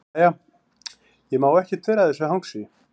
Jæja, ég má ekkert vera að þessu hangsi.